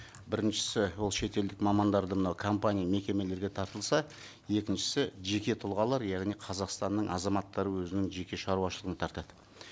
біріншісі ол шетелдік мамандарды мынау компания мекемелерге тартылса екіншісі жеке тұлғалар яғни қазақстанның азаматтары өзінің жеке шаруашылығына тартады